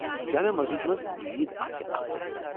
جامع مسجدِ منٛز عید آسہ اکھ تجربہٕ۔